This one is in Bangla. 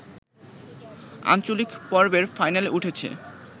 আঞ্চলিক পর্বের ফাইনালে উঠেছে